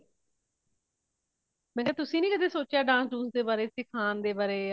ਮੈ ਕੀਆ ਤੁਸੀਂ ਨਹੀਂ ਕਦੇ ਸੋਚਿਆਂ dance ਦੁਨਸ ਦੇ ਬਾਰੇ ਸਿੱਖਣ ਦੇ ਬਾਰੇ